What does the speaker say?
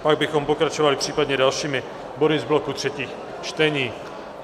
Pak bychom pokračovali případně dalšími body z bloku třetích čtení.